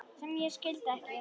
sem ég skildi ekki